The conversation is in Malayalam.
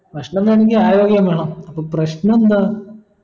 ഭക്ഷണം വേണെങ്കിൽ ആരോഗ്യം വേണം അപ്പൊ പ്രശ്ണ എന്താ